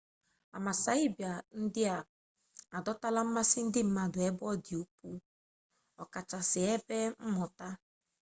amasaịba ndị a adọtala mmasị ndị mmadụ ebe ọ dị ukwuu ọkachasị n'ebe mmụta